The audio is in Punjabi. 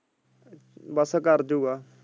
ਬਸ ਕਰ ਜੁ ਗਾ।